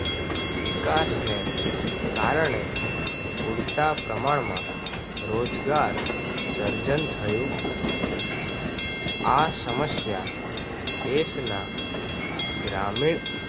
વિકાસ ને કારણે પૂરતા પ્રમાણમાં રોજગાર સર્જન થયું નથી. આ સમસ્યા દેશના ગ્રામીણ